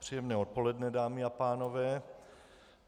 Příjemné odpoledne, dámy a pánové.